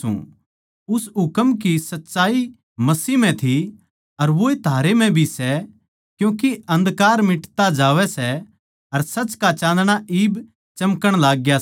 पर जो कोए अपणे बिश्वासी भाई तै बैर राक्खै सै वो अन्धकार म्ह रहवै सै अर अन्धेरे म्ह चाल्लै सै अर न्ही जाण्दा के कित्त जावै सै क्यूँके अन्धकार नै उसकी आँख आँधी कर दी सै